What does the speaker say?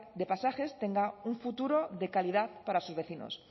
de pasajes tenga un futuro de calidad para sus vecinos